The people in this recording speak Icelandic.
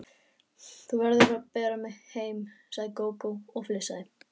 Þú verður að bera mig heim, sagði Gógó og flissaði.